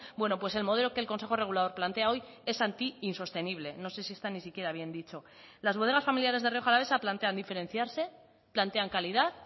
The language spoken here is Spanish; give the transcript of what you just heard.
bueno pues el modelo que el consejo regulador plantea hoy es anti insostenible no sé si está ni siquiera bien dicho las bodegas familiares de rioja alavesa plantean diferenciarse plantean calidad